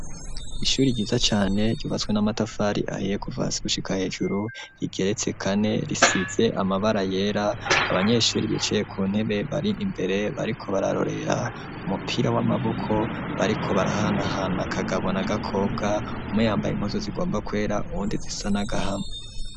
Ishuri ryiza cane ryubatswe n'amatafari ahiye kuva hasi gushika hejuru rigeretse kane risize amabara yera abanyeshuri bicaye ku ntebe bari imbere bariko bararorera umupira w'amaboko bariko barahanahana Kagabo na Gakobwa umwe yambaye impuzu zigomba kwera uwundi zisa n'agahama